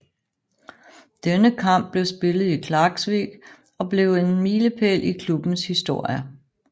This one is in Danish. Denne kamp blev spillet i Klaksvík og blev en milepæl i klubbens historie